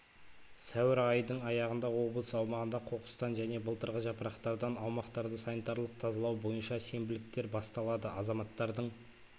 сәуір айдың аяғында облыс аумағында қоқыстан және былтырғы жапырақтардан аумақтарды санитарлық тазалау бойынша сенбіліктер басталады азаматтардың